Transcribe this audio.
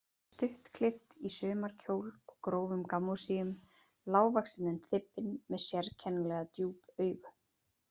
Stuttklippt í sumarkjól og grófum gammósíum, lágvaxin en þybbin, með sérkennilega djúp augu.